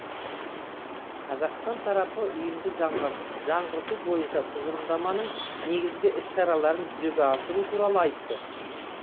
қазақстан тарапы ұйымды жаңғырту бойынша тұжырымдаманың негізгі іс шараларын жүзеге асыру туралы айтты